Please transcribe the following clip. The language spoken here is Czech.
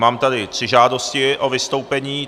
Mám tady tři žádosti o vystoupení.